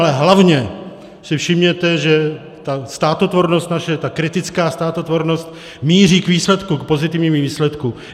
Ale hlavně si všimněte, že ta státotvornost naše, ta kritická státotvornost míří k výsledku, k pozitivnímu výsledku.